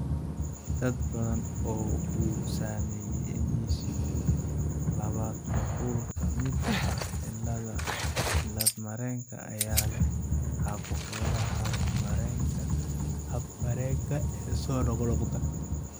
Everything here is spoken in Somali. Dad badan oo uu saameeyay MECP labaad nuqul ka mid ah cilladda cillad-mareenka ayaa leh caabuqyada hab-mareenka ee soo noqnoqda.